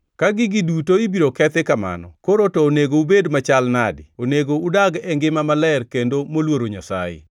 Ka gigi duto ibiro kethi kamano, koro to onego ubed jomachal nadi? Onego udag e ngima maler kendo moluoro Nyasaye,